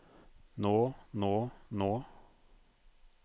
nå nå nå